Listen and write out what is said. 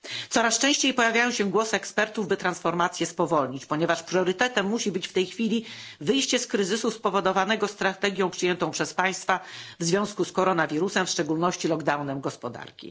Coraz częściej pojawiają się głosy ekspertów, by transformację spowolnić, ponieważ priorytetem musi być w tej chwili wyjście z kryzysu spowodowanego strategią przyjętą przez państwa w związku z koronawirusem, w szczególności lockdown gospodarki.